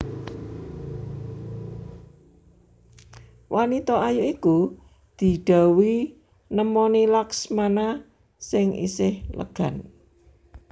Wanita ayu iku didhawuhi nemoni Laksmana sing isih legan